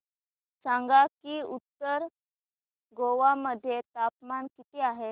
सांगा की उत्तर गोवा मध्ये तापमान किती आहे